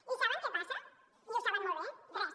i saben què passa i ho saben molt bé res